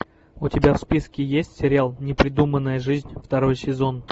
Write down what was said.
у тебя в списке есть сериал непридуманная жизнь второй сезон